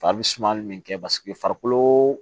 Fa bɛ suma min kɛ paseke farikolo